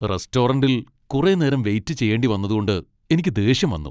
റെസ്റ്റോറന്റിൽ കുറെ നേരം വെയിറ്റ് ചെയ്യേണ്ടി വന്നതുകൊണ്ട് എനിക്ക് ദേഷ്യം വന്നു.